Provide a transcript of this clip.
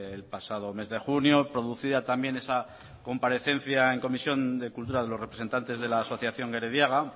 el pasado mes de junio producida también esa comparecencia en comisión de cultura de los representantes de la asociación gerediaga